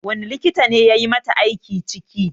Wani likita ne yayi mata aiki ciki?